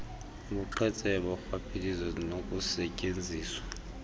ubuqhetseba urhwaphilizo nokusetyenziswa